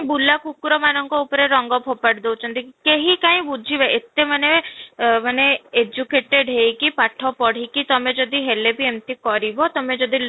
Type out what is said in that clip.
ବୁଲା କୁକୁର ମାନଙ୍କ ଉପରେ ରଙ୍ଗ ଫୋପାଡି ଦଉଛନ୍ତି, କେହି କାଇଁ ବୁଝିବେ ଏତେ ମାନେ ଏ ମାନେ educated ହେଇକି ପାଠ ପଢିକି ତୋମେ ଯଦି ହେଲେ ବି ଏମିତି କରିବ ତୋମେ ଯଦି